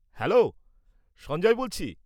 Hello, Sanjay বলছি।